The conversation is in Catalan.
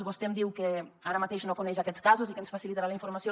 vostè em diu que ara mateix no coneix aquests casos i que ens facilitarà la informació